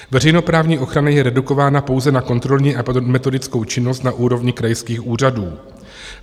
Veřejnoprávní ochrana je redukována pouze na kontrolní a metodickou činnost na úrovni krajských úřadů.